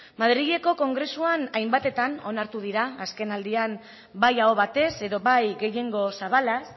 madrileko kongresuan hainbatetan onartu dira azkenaldian bai aho batez edo bai gehiengo zabalaz